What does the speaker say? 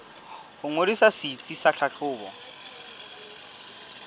ho ngodisa setsi sa tlhahlobo